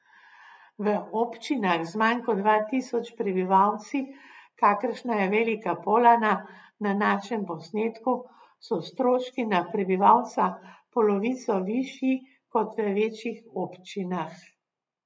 V občinah z manj kot dva tisoč prebivalci, kakršna je Velika Polana na našem posnetku, so stroški na prebivalca polovico višji kot v večjih občinah.